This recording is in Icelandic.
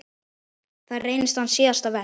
Það reynist hans síðasta verk.